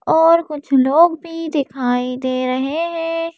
और कुछ लोग भी दिखाई दे रहे हैं।